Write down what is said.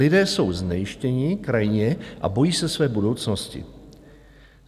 Lidé jsou znejistěni krajně a bojí se své budoucnosti.